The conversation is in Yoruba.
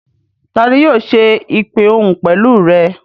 Tani yóò ṣe ìpè òhun pẹ̀lú rẹ?